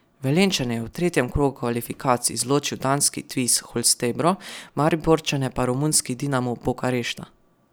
Velenjčane je v tretjem krogu kvalifikacij izločil danski Tvis Holstebro, Mariborčane pa romunski Dinamo Bukarešta.